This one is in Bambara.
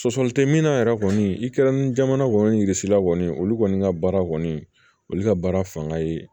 Sɔsɔli tɛ min na yɛrɛ kɔni i kɛra ni jamana kɔni yirasi la kɔni olu kɔni ka baara kɔni olu ka baara fanga ye